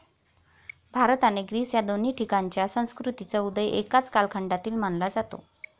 भारत आणि ग्रीस या दोन्ही ठिकाणच्या संस्कृतींचा उदय एकाच कालखंडातील मानला जातो